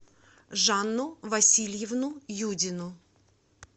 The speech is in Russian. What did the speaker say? жанну васильевну юдину